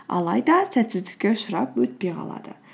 алайда сәтсіздікке ұшырап өтпей қалады